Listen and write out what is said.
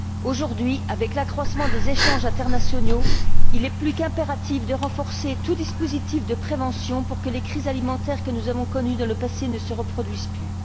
Aujourd'hui, avec l'accroissement des échanges internationaux, il est plus qu'impératif de renforcer tout dispositif de prévention pour que les crises alimentaires que nous avons connues dans le passé ne se reproduisent plus.